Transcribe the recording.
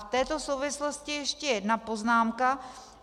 V této souvislosti ještě jedna poznámka.